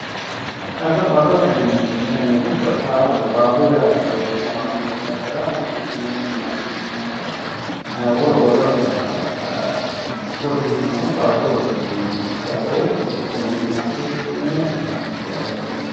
Odoo, odoote yineemmoti tenne yanna giddo barrunni haarore maccishshinonikkire maccishshinannitta wolu woleho saysara odeessanotta odoote yineemmo, diafootto ,dimaccishshitinoninni yinnanni ku'lanniti odoote.